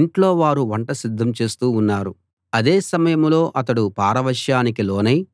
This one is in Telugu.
ఇంట్లో వారు వంట సిద్ధం చేస్తూ ఉన్నారు అదే సమయంలో అతడు పారవశ్యానికి లోనై